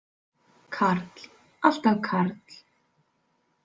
Karl, alltaf karl.